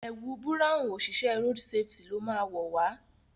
ẹwù Búráhùn oṣiṣẹ road safety ló má wọ wá.